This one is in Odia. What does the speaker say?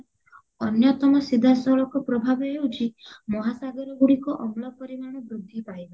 ଅନ୍ୟତମ ସିଧା ସଳଖ ପ୍ରଭାବ ହେଉଚି ମହାସାଗର ଗୁଡିକ ଅମ୍ଳ ପରିମାଣ ବୃଦ୍ଧି ପାଇବା